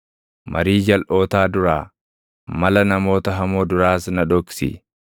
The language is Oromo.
Marii jalʼootaa duraa, mala namoota hamoo duraas na dhoksi.